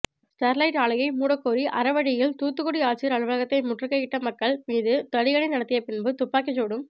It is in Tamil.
ஸ்டர்லைட் ஆலையை மூடக்கோரி அறவழியில் தூத்துக்குடி ஆட்சியர் அலுவலகத்தை முற்றுகையிட்ட மக்கள் மீது தடியடி நடத்தி பின்பு துப்பாக்கி சூடும்